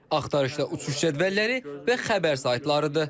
Axtarışda uçuş cədvəlləri və xəbər saytlarıdır.